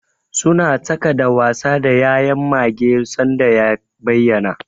Suna tsaka da wasa da ya'yan mage sanda ya bayyana.